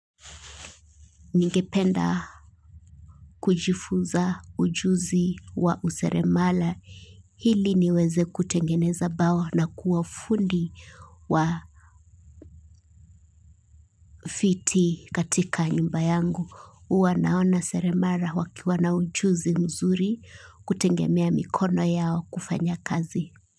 Ningependa kujifuza ujuzi wa useremala hili niweze kutengeneza bawa na kuwa fundi wa fiti katika nyumba yangu. Huwa naona seremala wakiwa na ujuzi mzuri kutengemea mikono yao kufanya kazi.